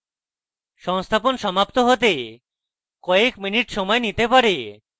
সংস্থাপন সমাপ্ত হতে কয়েক minutes সময় নিতে পারে